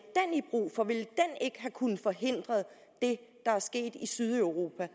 have kunnet forhindre det der er sket i sydeuropa